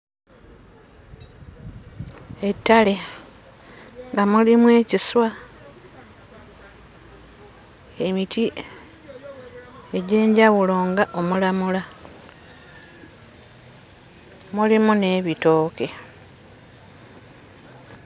Ettale nga mulimu ekiswa, emiti egy'enjwulo ng'omulamula, mulimu n'ebitooke.